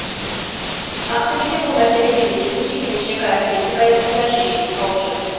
ақтөбеде бұл мәселе мемлекеттік жекеменшік әріптестік аясында шешімін тауып жүр